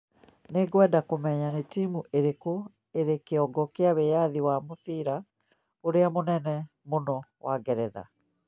Nĩngwenda kũmenya nĩ timu ĩrĩkũ ĩrĩ kĩongo kĩa wĩyathi wa mũbira ũrĩa mũnene mũno wa Ngeretha